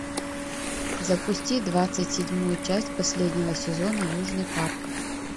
запусти двадцать седьмую часть последнего сезона южный парк